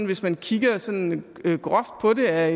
hvis man kigger sådan groft på det er